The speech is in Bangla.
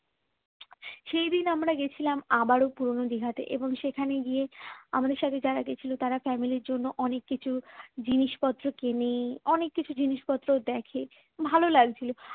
সেই দিন আমরা গেছিলাম আবারো পুরনো দিঘাতে এবং সেখানে গিয়ে আমাদের সাথে যারা গেছিল তারা family র জন্য অনেক কিছু জিনিসপত্র কিনে অনেক কিছু জিনিসপত্র দেখে ভালো লাগছিল